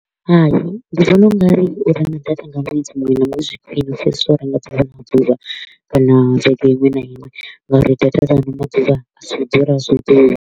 Hai, ndi vhona u nga ri u renga data nga ṅwedzi muṅwe na muṅwe zwi khwiṋe u fhirisa u renga ḓuvha na ḓuvha kana vhege iṅwe na iṅwe nga uri data dza ano maḓuvha a si u ḓura a si ḓura.